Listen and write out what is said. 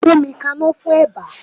Gbómi kaná fún eba!